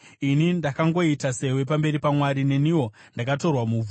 Ini ndakangoita sewe pamberi paMwari; neniwo ndakatorwa muvhu.